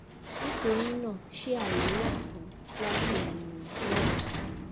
nitorina ṣe aye wa fun lati le rin lẹẹkan si